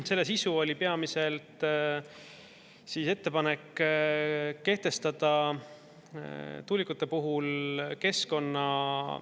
Selle sisu oli peamiselt ettepanek kehtestada tuulikute puhul keskkonna …